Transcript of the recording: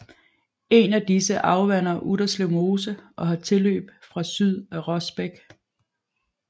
Et af disse afvander Utterslev Mose og har tilløb fra syd af Rosbæk